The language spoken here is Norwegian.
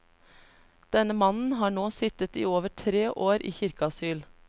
Denne mannen har nå sittet i over tre år i kirkeasyl.